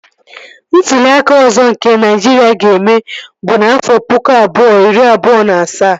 Ntụli aka ọzọ nke Naịjiria ga-eme bụ n'afọ pụkụ abụọ iri abụọ na asaa